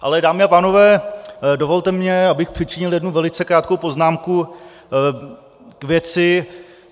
Ale dámy a pánové, dovolte mi, abych přičinil jednu velice krátkou poznámku k věci.